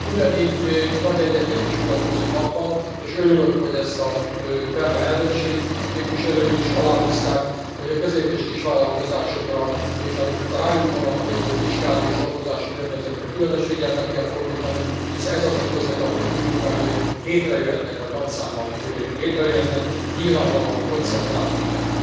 Ugyanígy nagy egyetértés mutatkozott abban, és örülök, hogy ezt a belga elnökség képviselői is aláhúzták, hogy a közép és kisvállalkozásokra és a rájuk vonatkozó fiskális adózási környezetre különös figyelmet kell fordítani, hisz ez az a közeg, ahol új munkahelyek létrejöhetnek, vagy nagy számmal létrejöhetnek, nyilvánvalóan koncentrálnunk kell.